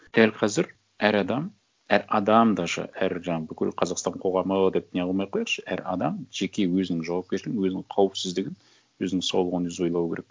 дәл қазір әр адам әр адам даже әр жаңағы бүкіл қазақстан қоғамы деп не қылмай ақ қояйықшы әр адам жеке өзінің жауапкершілігін өзінің қауіпсіздігін өзінің саулығын өзі ойлау керек